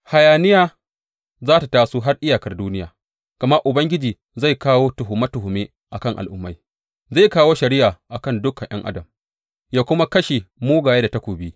Hayaniya za tă taso har iyakar duniya, gama Ubangiji zai kawo tuhume tuhume a kan al’ummai; zai kawo shari’a a kan dukan ’yan adam ya kuma kashe mugaye da takobi,’